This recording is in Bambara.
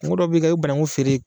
Mɔgɔ dɔ bɛ ka i bɛ bananku feere